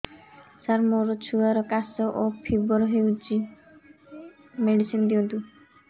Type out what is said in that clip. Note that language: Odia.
ସାର ମୋର ଛୁଆର ଖାସ ଓ ଫିବର ହଉଚି ମେଡିସିନ ଦିଅନ୍ତୁ